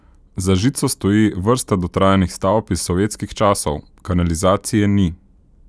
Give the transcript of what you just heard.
Za žico stoji vrsta dotrajanih stavb iz sovjetskih časov, kanalizacije ni.